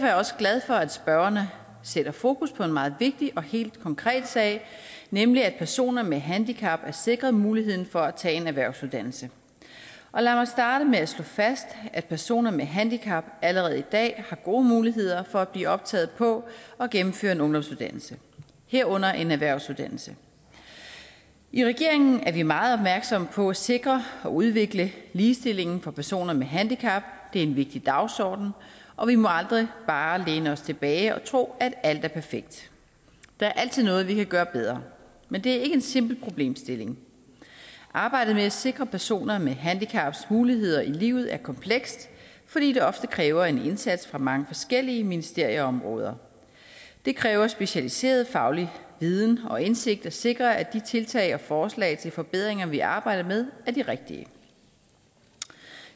jeg også glad for at spørgerne sætter fokus på en meget vigtig og helt konkret sag nemlig at personer med handicap er sikret muligheden for at tage en erhvervsuddannelse lad mig starte med at slå fast at personer med handicap allerede i dag har gode muligheder for at blive optaget på og gennemføre en ungdomsuddannelse herunder en erhvervsuddannelse i regeringen er vi meget opmærksomme på at sikre og udvikle ligestillingen for personer med handicap det er en vigtig dagsorden og vi må aldrig bare læne os tilbage og tro at alt er perfekt der er altid noget vi kan gøre bedre men det er ikke en simpel problemstilling arbejdet med at sikre personer med handicap muligheder i livet er komplekst fordi det ofte kræver en indsats fra mange forskellige ministerieområder det kræver specialiseret faglig viden og indsigt at sikre at de tiltag og forslag til forbedringer vi arbejder med er de rigtige